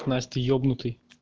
насть ты ебнутый